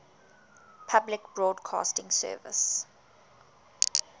public broadcasting service